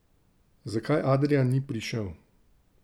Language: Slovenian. Zakaj Adrijan ni prišel?